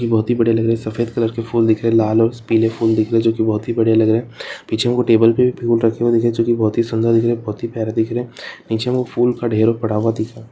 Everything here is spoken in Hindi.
ये बहुत ही बढ़िया लग रहा है सफ़ेद कलर के फूल दिख रहे है लाल और पीले फूल दिख रहे है जो की बहुत ही बढ़िया लग रहे है पीछे टेबल पे भी फूल रखे हुए दिख रहे हैं जो की बहुत सुन्दर दिख रहे हैं बहुत प्यारे दिख रहे हैं नीचे हमको फूल का ढेर पड़ा हुआ दिख रहा है।